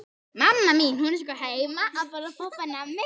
Þín Svava.